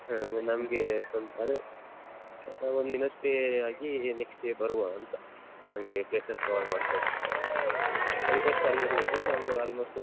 ನಮ್ಗೆ ಸ್ವಂತ ಅದೇ ಒಂದ್ ದಿನ stay ಆಗಿ next day ಬರುವ ಅಂತ ಅಲ್ಲಿಯ places cover ಮಾಡ್ಕೊಂಡ್ thirty first ಅಲ್ಲಿ ಇರ್ಬೇಕು ನಾವು almost .